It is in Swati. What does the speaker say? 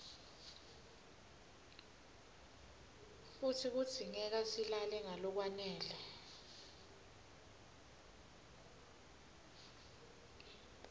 futsi kudzingeka silale ngalokwanele